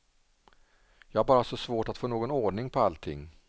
Jag har bara så svårt att få någon ordning på allting.